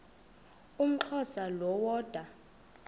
umxhosa lo woda